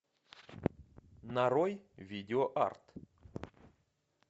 нарой видео арт